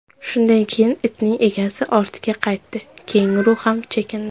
Shundan keyin itning egasi ortga qaytdi, kenguru ham chekindi.